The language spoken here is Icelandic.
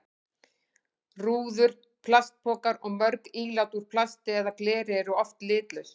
Rúður, plastpokar og mörg ílát úr plasti eða gleri eru oft litlaus.